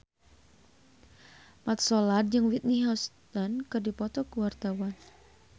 Mat Solar jeung Whitney Houston keur dipoto ku wartawan